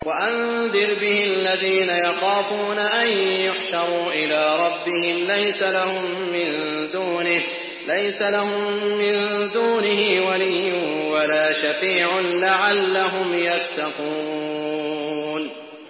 وَأَنذِرْ بِهِ الَّذِينَ يَخَافُونَ أَن يُحْشَرُوا إِلَىٰ رَبِّهِمْ ۙ لَيْسَ لَهُم مِّن دُونِهِ وَلِيٌّ وَلَا شَفِيعٌ لَّعَلَّهُمْ يَتَّقُونَ